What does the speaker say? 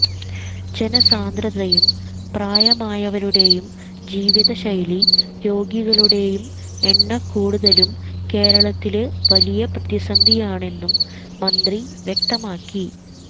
ജനസാന്ദ്രതയും പ്രായമായവരുടെയും ജീവിത ശൈലീ രോഗികളുടെയും എണ്ണക്കൂടുതലും കേരളത്തില് വലിയ പ്രതിസന്ധിയാണെന്നും മന്ത്രി വ്യക്തമാക്കി